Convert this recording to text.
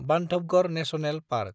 Bandhavgarh national park